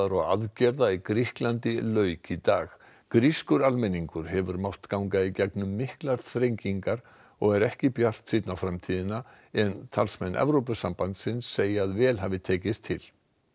og aðgerða í Grikklandi lauk í dag grískur almenningur hefur mátt ganga í gegnum miklar þrengingar og er ekki bjartsýnn á framtíðina en talsmenn Evrópusambandsins segja að vel hafi tekist til